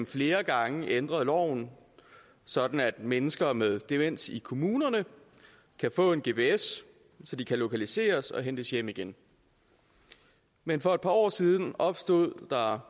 flere gange ændret loven sådan at mennesker med demens i kommunerne kan få en gps så de kan lokaliseres og hentes hjem igen men for et par år siden opstod der